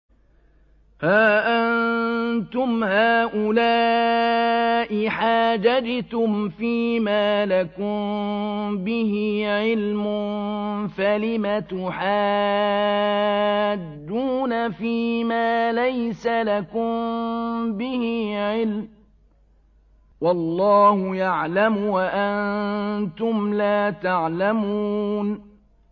هَا أَنتُمْ هَٰؤُلَاءِ حَاجَجْتُمْ فِيمَا لَكُم بِهِ عِلْمٌ فَلِمَ تُحَاجُّونَ فِيمَا لَيْسَ لَكُم بِهِ عِلْمٌ ۚ وَاللَّهُ يَعْلَمُ وَأَنتُمْ لَا تَعْلَمُونَ